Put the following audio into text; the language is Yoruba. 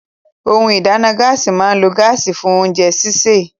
Ohun ìdáná Gáàsì máa ń lo gáàsì fún oúnjẹ sisè